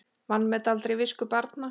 Vanmet aldrei visku barna.